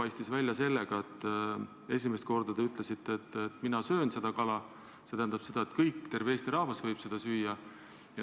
Esimesel korral siis, kui te ütlesite, et teie sööte seda kala, st et kõik võivad seda süüa, terve Eesti rahvas võib seda süüa.